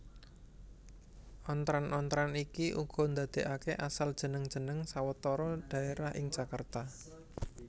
Ontran ontran iki uga ndadèkaké asal jeneng jeneng sawetara dhaérah ing Jakarta